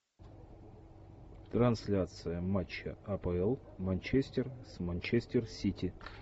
трансляция матча апл манчестер с манчестер сити